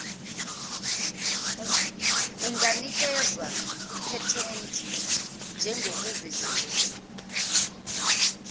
unganikezwa iphethenti njengokuveziwe